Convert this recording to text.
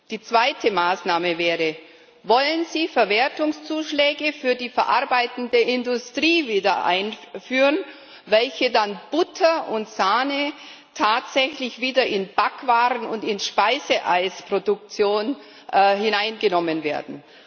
Die zweite Maßnahme wäre Wollen Sie wieder Verwertungszuschläge für die verarbeitende Industrie einführen, womit dann Butter und Sahne tatsächlich wieder in die Backwaren und in die Speiseeisproduktion hineingenommen werden?